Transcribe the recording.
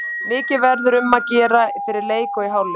Mikið verður um að gera fyrir leik og í hálfleik.